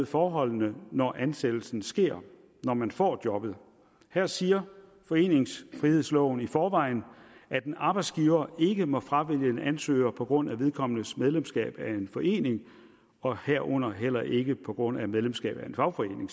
forholdene når ansættelsen sker når man får jobbet her siger foreningsfrihedsloven i forvejen at en arbejdsgiver ikke må fravælge en ansøger på grund af vedkommendes medlemskab af en forening herunder selvfølgelig heller ikke på grund af medlemskab af en fagforening